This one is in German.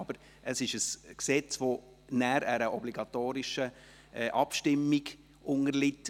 Aber es ist ein Gesetz, das nachher einer obligatorischen Abstimmung unterliegt.